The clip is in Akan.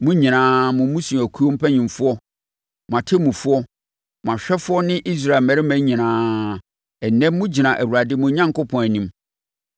Mo nyinaa—mo mmusuakuo mpanimfoɔ, mo atemmufoɔ, mo ahwɛfoɔ ne Israel mmarima nyinaa, ɛnnɛ mogyina Awurade, mo Onyankopɔn, anim,